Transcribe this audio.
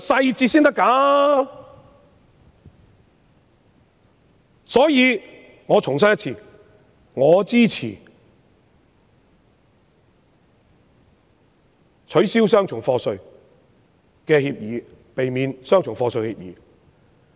因此，我重申我支持避免雙重課稅的協定，以避免雙重課稅。